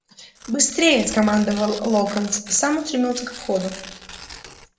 быстрее скомандовал локонс и сам устремился ко входу